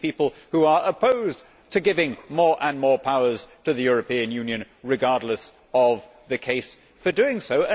there will be people who are opposed to giving more and more powers to the European Union, regardless of the case for doing so.